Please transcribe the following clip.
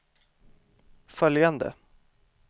följande